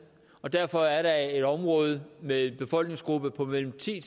og derfor er der et område med en befolkningsgruppe på mellem ti